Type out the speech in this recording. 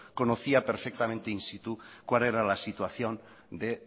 conocía perfectamente en situ cuál era la situación de